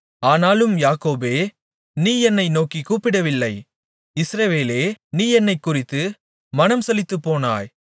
ஆனாலும் யாக்கோபே நீ என்னை நோக்கிக் கூப்பிடவில்லை இஸ்ரவேலே நீ என்னைக்குறித்து மனம்சலித்துப்போனாய்